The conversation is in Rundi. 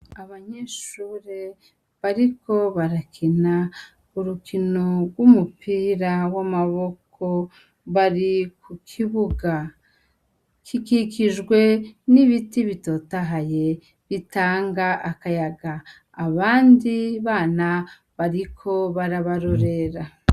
Abanyeshure bariko barakina urukino rw'umupira w'amaboko, bari ku kibuga. Kikikijwe n'ibiti bitotahaye bitanga akayaga. Abandi bana bariko barabarorera.